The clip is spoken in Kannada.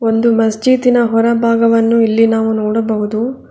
ಒಂದು ಮಸ್ಜಿದಿನ ಹೊರಭಾಗವನ್ನು ನಾವು ಇಲ್ಲಿ ನೋಡಬಹುದು.